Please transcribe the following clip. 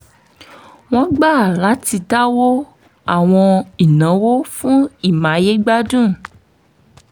wọ́n gbà láti dáwọ́ àwọn ìnáwó fún ìmáyégbádùn